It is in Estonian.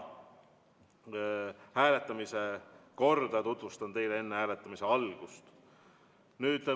Hääletamise korda tutvustan teile enne hääletamise algust.